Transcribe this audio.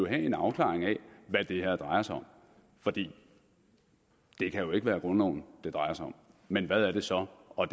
en afklaring af hvad det her drejer sig om for det kan jo ikke være grundloven det drejer sig om men hvad er det så og